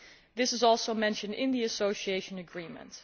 This is also mentioned in the Association Agreement.